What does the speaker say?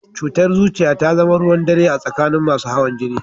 Cutar zuciya ta zama ruwan dare a tsakanin masu hawan jini